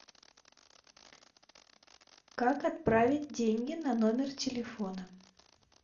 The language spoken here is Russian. как отправить деньги на номер телефона